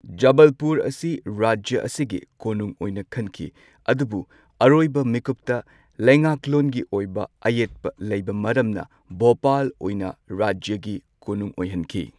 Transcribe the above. ꯖꯕꯜꯄꯨꯔ ꯑꯁꯤ ꯔꯥꯖ꯭ꯌ ꯑꯁꯤꯒꯤ ꯀꯣꯅꯨꯡ ꯑꯣꯏꯅ ꯈꯟꯈꯤ꯫ ꯑꯗꯨꯕꯨ ꯑꯔꯣꯏꯕ ꯃꯤꯀꯨꯞꯇ ꯂꯩꯉꯥꯛꯂꯣꯟꯒꯤ ꯑꯣꯏꯕ ꯑꯌꯦꯠꯄ ꯂꯩꯕ ꯃꯔꯝꯅ ꯚꯣꯄꯥꯜ ꯑꯣꯏꯅ ꯔꯥꯖ꯭ꯌꯒꯤ ꯀꯣꯅꯨꯡ ꯑꯣꯏꯍꯟꯈꯤ꯫